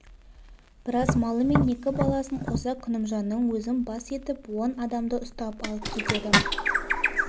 біраз малы мен екі баласын қоса күнімжанның өзін бас етіп он адамды ұстап алып кетеді